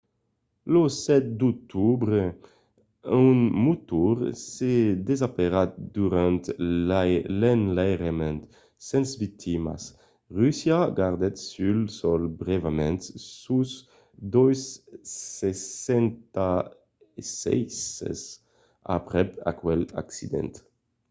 lo 7 d'octobre un motor se desseparèt durant l'enlairament sens victimas. russia gardèt sul sòl brèvament sos ii-76s aprèp aquel accident